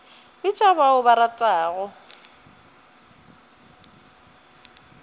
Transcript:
bitša ba o ba ratago